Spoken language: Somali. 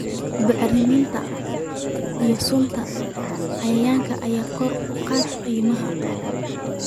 Bacriminta iyo sunta cayayaanka ayaa kor u kacday qiimaha.